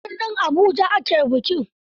A birnin Abuja ake bikin.